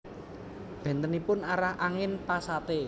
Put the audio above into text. Bentenipun arah angin Pasate